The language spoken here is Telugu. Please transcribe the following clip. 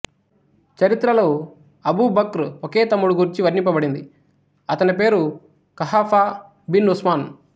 చరిత్రలో అబూబక్ర్ ఒకే తమ్ముడి గూర్చి వర్ణింపబడింది అతని పేరు ఖహాఫా బిన్ ఉస్మాన్